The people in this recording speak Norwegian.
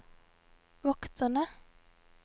vokterne